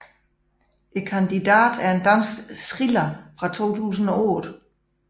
Kandidaten er en dansk thriller fra 2008